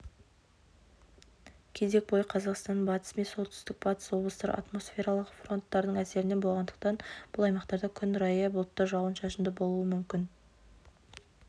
кезең бойы қазақстанның батыс мен солтүстік-батыс облыстары атмосфералық фронтардың әсерінде болғандықтан бұл аймақтарда күн райы бұлтты жауын-шашынды болуы мүмкін